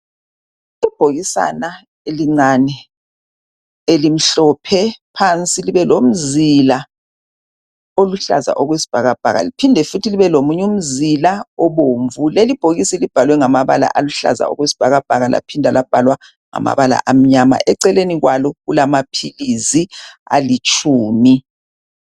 ibhokisana elincane elimhlophe phansi libo lomzila oluhlaza okwesibhakabhaka liphinde futhi libe lombala obomvu lelibhokisi libhalwe ngama bala amnyama kwalo kulama philizi alitshumi.